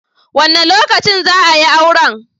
Wa ne lokacin ne za a yi auren?